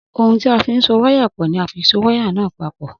Ohun tí a fín so wáyà pò ni a fi so wáyà náà papò